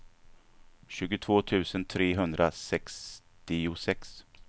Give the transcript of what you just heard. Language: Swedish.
tjugotvå tusen trehundrasextiosex